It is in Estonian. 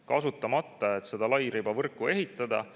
Kasutamata, et seda lairibavõrku ehitada.